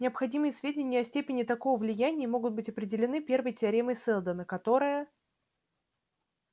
необходимые сведения о степени такого влияния могут быть определены первой теоремой сэлдона которая